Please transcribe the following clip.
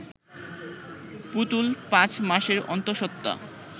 পুতুল পাঁচ মাসের অন্তঃসত্ত্বা